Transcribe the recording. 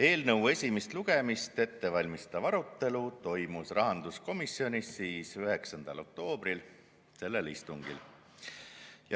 Eelnõu esimest lugemist ette valmistav arutelu toimus rahanduskomisjonis 9. oktoobri istungil.